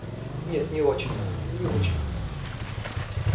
нет не очень не очень